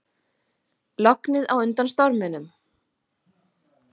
Lognið á undan storminum